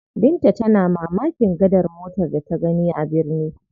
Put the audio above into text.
Binta tana ta mamakin gadar motar da ta gani a birni.